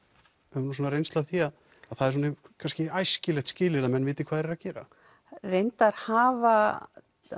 höfum reynslu af því að það er æskilegt skilyrði að menn viti hvað þeir eru að gera það hafa